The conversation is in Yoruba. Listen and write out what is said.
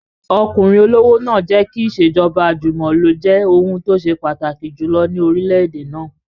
Ọkùnrin olówó náà jẹ́ kí ìṣèjọba àjùmọ̀lo jẹ́ ohun tó ṣe pàtàkì jù ní orílẹ̀-èdè náà